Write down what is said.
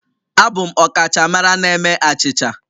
Abụ m ọkachamara na-eme achịcha